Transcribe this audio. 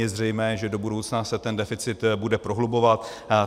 Je zřejmé, že do budoucna se ten deficit bude prohlubovat.